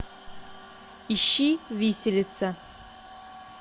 ищи виселица